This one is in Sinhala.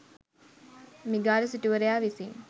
මිගාර සිටුවරයා විසින්